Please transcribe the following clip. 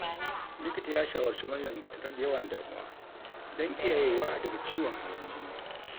Likita ya shawarci Maryam da ta rage yawan damuwa don kiyayewa daga ciwon hawan jini.